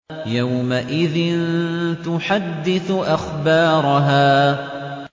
يَوْمَئِذٍ تُحَدِّثُ أَخْبَارَهَا